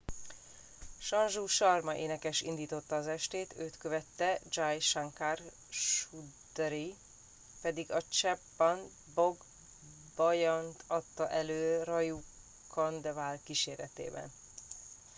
sanju sharma énekes indította az estét őt követte jai shankar choudhary pedig a chhappan bhog bhajant adta elő raju khandelwal kíséretében